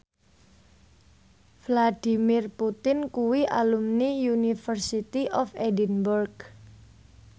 Vladimir Putin kuwi alumni University of Edinburgh